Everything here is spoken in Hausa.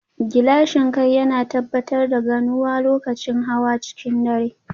Gilashin kai yana tabbatar da ganuwa lokacin hawa cikin dare